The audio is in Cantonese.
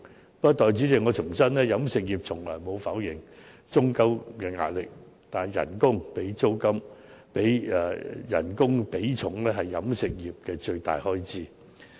不過，代理主席，我重申飲食業從來沒有否認租金的壓力，但工資的比重是飲食業的最大開支。